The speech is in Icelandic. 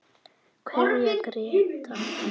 Kveðja Gréta.